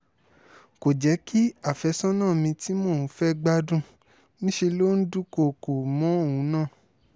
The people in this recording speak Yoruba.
kò jẹ́ kí àfẹ́sọ́nà mi tí mò ń fẹ́ gbádùn níṣẹ́ ló ń dúnkookò mọ́ òun náà